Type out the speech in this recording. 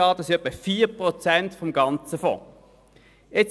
Das entspricht circa 4 Prozent des Fonds.